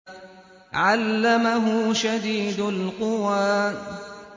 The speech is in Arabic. عَلَّمَهُ شَدِيدُ الْقُوَىٰ